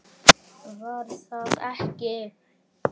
Var það ekki????